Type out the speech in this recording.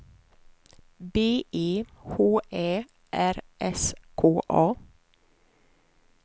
B E H Ä R S K A